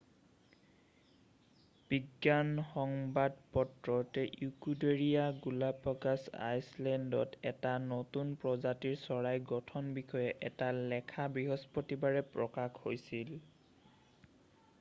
বিজ্ঞান সংবাদপত্ৰত ইকিউৱেডৰীয় গালাপেগ'ছ আইলেণ্ডত এটা নতুন প্ৰজাতিৰ চৰাইৰ গঠনৰ বিষয়ে এটা লেখা বৃহস্পতিবাৰে প্ৰকাশ হৈছিল